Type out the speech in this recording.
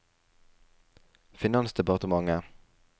finansdepartementet